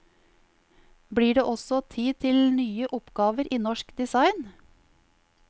Blir det også tid til nye oppgaver i norsk design?